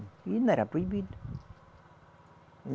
E não era proibido.